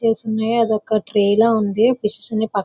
తీసున్నది అదొక ట్రే లా ఉంది. ఫిష్ నీ పక్క--